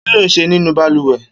Kiló n ṣé ninú bàlùwẹ̀?